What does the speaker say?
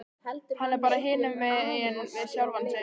Hann er bara hinumegin við sjálfan sig.